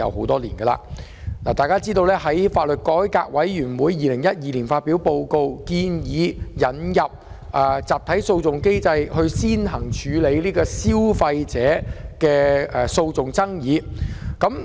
大家都知道，香港法律改革委員會曾在2012年發表報告，建議引入集體訴訟機制，並首先用於處理消費者的訴訟爭議。